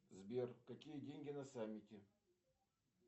сбер какие деньги на саммите